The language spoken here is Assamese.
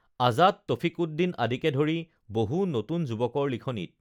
আজাদ তফিকউদ্দিন আদিকে ধৰি বহু নতুন যুৱকৰ লিখনীত